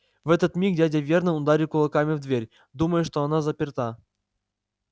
в этот миг дядя вернон ударил кулаками в дверь думая что она заперта